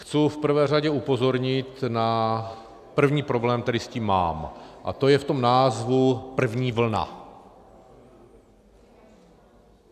Chci v prvé řadě upozornit na první problém, který s tím mám, a to je v tom názvu - první vlna.